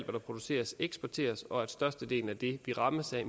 produceres eksporteres og når størstedelen af det vi rammes af